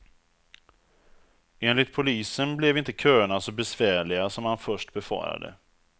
Enligt polisen blev inte köerna så besvärliga som man först befarade.